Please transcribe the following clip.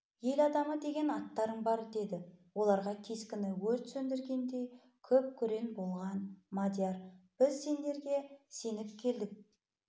ел адамы деген аттарын бар деді оларға кескіні өрт сөндіргендей күп-күрең болған мадияр біз сендерге сеніп келдік